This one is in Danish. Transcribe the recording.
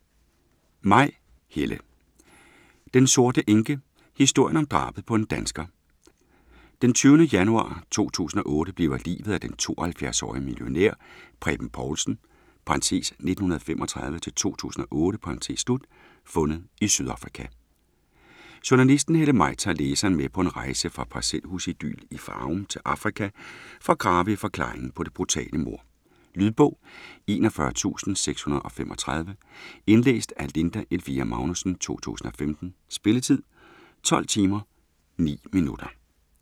Maj, Helle: Den sorte enke: historien om drabet på en dansker Den 20. januar 2008 bliver liget af den 72-årige millionær Preben Povlsen (1935-2008) fundet i Sydafrika. Journalisten Helle Maj tager læseren med på en rejse fra parcelhusidyl i Farum til Afrika for at grave i forklaringen på det brutale mord. Lydbog 41635 Indlæst af Linda Elvira Magnussen, 2015. Spilletid: 12 timer, 9 minutter.